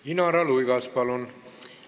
Inara Luigas, palun!